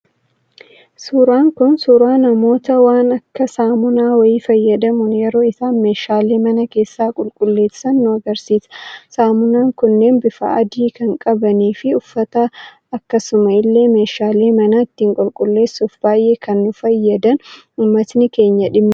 Suuraan Kun, suuraa namoota waan akka saamunaa wayii fayyadamuun yeroo isaan meeshaalee mana keessaa qulqulleesaan nu argisiisa. Samunaan kunneen bifa adii kan qabanii fi uffata akkasuma illee meeshaalee mana ittiin qulqulleesauuf baayyee kan nu fayyadan, uummatni keenya dhimma itti bahudha.